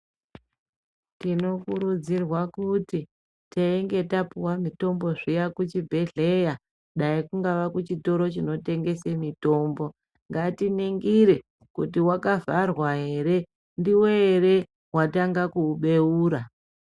Tinokurudzirwa kuti teinge tapuwa mutombo zviya kuchibhehlera dai kungava kuchitoro chinotengese mutombo ngatiningire kuti waka vhara ere ndiwe ere watanga kuubeira